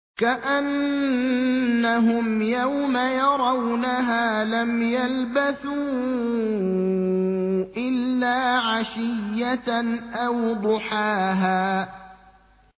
كَأَنَّهُمْ يَوْمَ يَرَوْنَهَا لَمْ يَلْبَثُوا إِلَّا عَشِيَّةً أَوْ ضُحَاهَا